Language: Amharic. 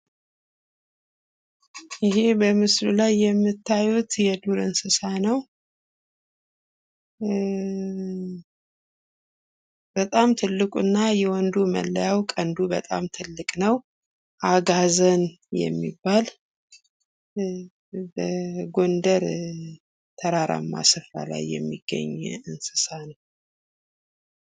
ይህ በምስሉ ላይ የምታዩት የዱር እንስሳ ነው። በጣም ትልቁ እና የወንዱ መለያው ቀንዱ በጣም ትልቅ ነው። አጋዘን የሚባል በጎንደር ተራራማ ስፍራ ላይ የሚገኝ እንስሳ ነው።